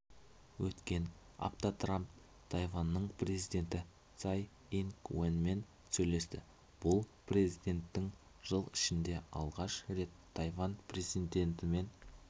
өткен аптатрамп тайваньның президенті цай инг уенмен сөйлесті бұл президентінің жыл ішінде алғаш рет тайвань президентімен